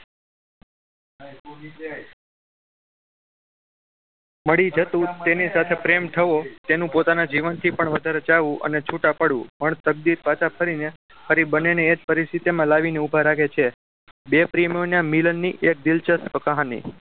મળી જતું તેની સાથે પ્રેમ થવો તેનું પોતાના જીવનથી પણ વધારે ચાહવું અને છૂટા પડવું પણ તકદીર પાછા ફરીને ફરી બંનેને એ જ પરિસ્થિતિમાં લાવીને ઉભા રાખે છે. બે પ્રેમીઓના મિલનની એક દિલચસ્પ કહાની